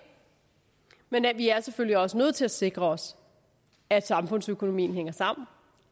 men vi er selvfølgelig også nødt til at sikre os at samfundsøkonomien hænger sammen